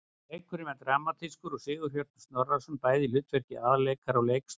Leikurinn var dramatískur og Sigurhjörtur Snorrason bæði í hlutverki aðalleikara og leikstjóra.